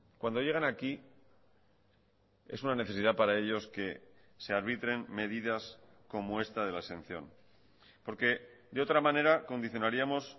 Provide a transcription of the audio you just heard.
cuando llegan aquí es una necesidad para ellos que se arbitren medidas como esta de la exención porque de otra manera condicionaríamos